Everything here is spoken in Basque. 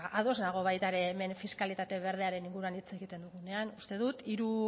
ba ados nago baita hemen fiskalitate berdearen inguruan hitz egiten dugunean uste dut hori